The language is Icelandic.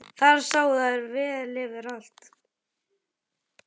Þar sáu þær vel yfir allt.